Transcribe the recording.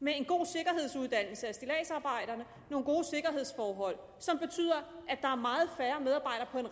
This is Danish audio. med en god sikkerhedsuddannelse af stilladsarbejderne nogle gode sikkerhedsforhold som betyder at der er meget færre medarbejdere